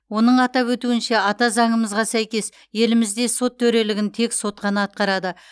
оның атап өтуінше ата заңымызға сәйкес елімізде сот төрелігін тек сот қана атқарады